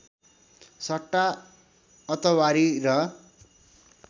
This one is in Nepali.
सट्टा अतवारी र